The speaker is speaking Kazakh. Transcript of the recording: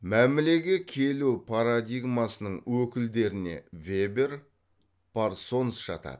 мәмілеге келу парадигмасының өкілдеріне вебер парсонс жатады